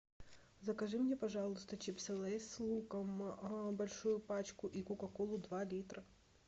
закажи мне пожалуйста чипсы лейс с луком большую пачку и кока колу два литра